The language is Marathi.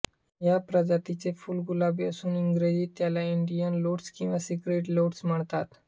या प्रजातीचे फुल गुलाबी असून इंग्रजीत त्याला इंडियन लोटस किंवा सेक्रेड लोटस म्हणतात